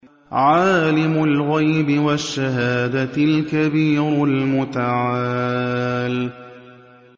عَالِمُ الْغَيْبِ وَالشَّهَادَةِ الْكَبِيرُ الْمُتَعَالِ